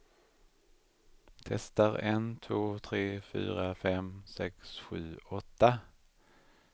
Testar en två tre fyra fem sex sju åtta.